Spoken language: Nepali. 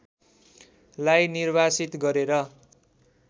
लाई निर्वासित गरेर